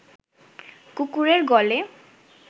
কুকুরের গলে